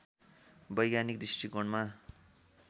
वैज्ञानिक दृष्टिकोणमा